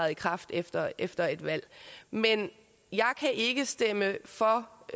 ikrafttræden efter et valg men jeg kan ikke stemme for